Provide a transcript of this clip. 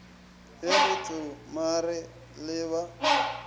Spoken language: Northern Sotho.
ge re tsomare le ba